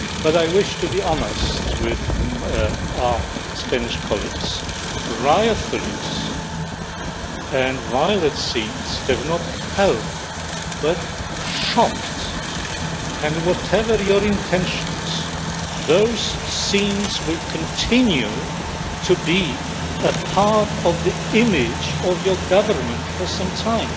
I wish to be honest with our Spanish colleagues riot police and violent scenes have not helped but shocked and, whatever your intentions, those scenes will continue to be a part of the image of your government for some time.